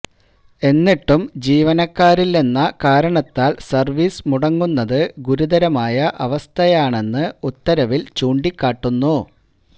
എന്നിട്ടും ജീവനക്കാരില്ലെന്ന കാരണത്താല് സര്വീസ് മുടങ്ങുന്നത് ഗുരുതരമായ അവസ്ഥയാണെന്ന് ഉത്തരവില് ചൂണ്ടിക്കാട്ടുന്നു